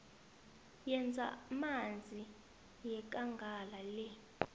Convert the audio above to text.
yezamanzi yekangala le